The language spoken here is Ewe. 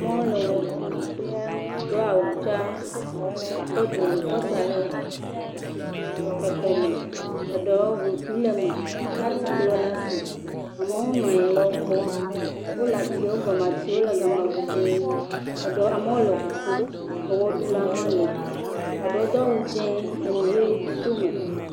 moɖowo le ɣe ɖu dó awudza kɔ dzonu kɔ sa le ekɔme eɖewo ʋukui leme la'tikplɔ lasi amowo nɔayin le wó kpɔ wóle atiwo gɔme atiwo le gama gbogbó amowo le ʋu ƒo eɣeɖulawo hã li eɖewo dó awu dzɛ̃ enuɣe tome